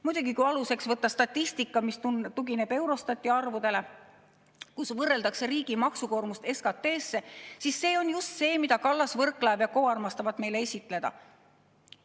Muidugi, kui aluseks võtta statistika, mis tugineb Eurostati arvudele, kus võrreldakse riikide maksukoormust SKT‑sse, siis see on just see, mida Kallas, Võrklaev & Co armastavad meile esitleda.